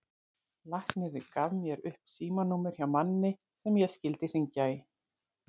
Læknirinn gaf mér upp símanúmer hjá manni sem ég skyldi hringja í.